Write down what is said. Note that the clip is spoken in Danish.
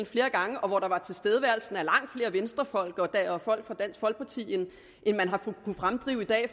flere gange og hvor der var tilstedeværelse af langt flere venstrefolk og folk fra dansk folkeparti end man har kunnet fremdrive i dag